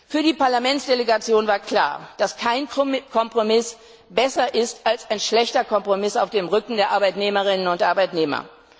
Für die Parlamentsdelegation war klar, dass kein Kompromiss besser ist als ein schlechter Kompromiss auf dem Rücken der Arbeitnehmerinnen und Arbeitnehmer.